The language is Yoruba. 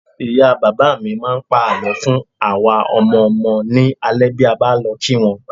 Ìyá bàbá mi máa ń pa àlọ́ fún àwa ọmọ ọmọ ní alaalẹ́ bí a bá lọ kí wọn